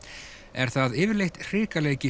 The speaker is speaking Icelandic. er það yfirleitt